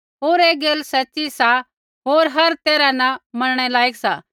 होर ऐ गैल सच़ी सा होर हर तैरहा न मनणै लायक सा